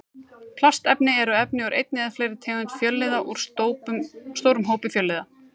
Plastefni eru efni úr einni eða fleiri tegundum fjölliða úr stórum hópi fjölliða.